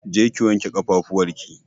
Je ki wanke ƙafafuwar ki!